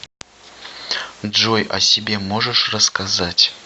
джой о себе можешь рассказать